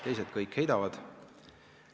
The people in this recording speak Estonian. Teised kõik heidavad.